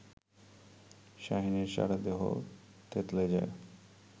শাহীনের সারাদেহ থেতলে যায়